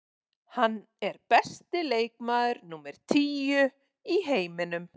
Hann er besti leikmaður númer tíu í heiminum.